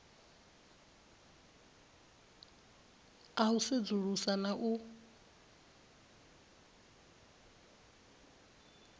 a u sedzulusa na u